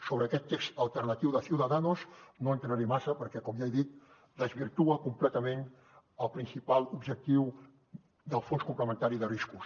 sobre aquest text alternatiu de ciudadanos no hi entraré massa perquè com ja he dit desvirtua completament el principal objectiu del fons complementari de riscos